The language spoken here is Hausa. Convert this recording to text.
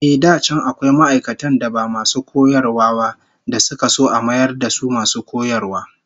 Ehh, da can akwai ma'aikatan da ba masu koyarwa ba da suka so a mayar da su masu koyarwa